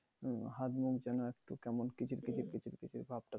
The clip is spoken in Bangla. ভাব থাকে।